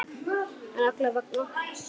En alla vega.